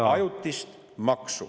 … kui ajutist maksu.